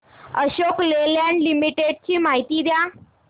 Ashok Leyland limited shares ची माहिती द्या